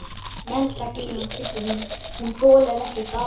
Menntagyðjan, Tryggvi minn, hún þolir ekkert daður!